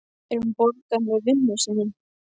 En hún borgaði með vinnu sinni.